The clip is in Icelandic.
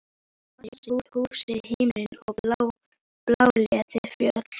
Á grasið, húsin, himininn og bláleit fjöll.